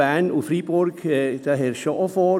Bern und Freiburg liegt auch vor.